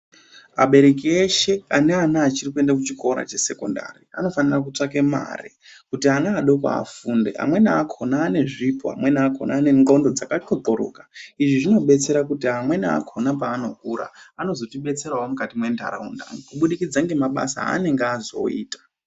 Abereki eshe ane ana achiri kuenda ku chikora che sekondari anofanira kutsvake mare kuti ana adoko afunde amweni akona ane zvipo amweni akona ane ndxondo dzaka ndxokoroka izvi zvino betsera kuti amweni akona paa anokura anozoti betserawo mukati me ndaraunda ku budikidza ne mabasa anenge azoita.